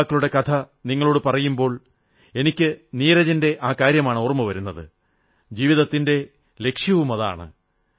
ഈ യുവാക്കളുടെ കഥ നിങ്ങളോടു പറയുമ്പോൾ എനിക്ക് നീരജിന്റെ ആ കാര്യമാണ് ഓർമ്മ വരുന്നത് ജീവിതത്തിന്റെ ലക്ഷ്യവുമതാണ്